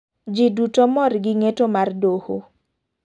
Ji duto mor gi ng'eto mar doho.